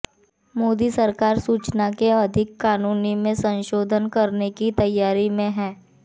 मोदी सरकार सूचना के अधिकार कानून में संशोधन करने की तैयारी में है